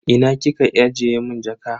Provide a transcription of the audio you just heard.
Ina kika ajiye mun jaka?